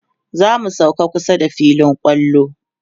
zamu sauka kusa da filin kwallo